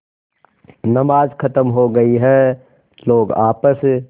नमाज खत्म हो गई है लोग आपस